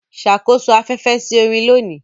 Ṣàkóso afẹ́fẹ́ sí orin lónìí.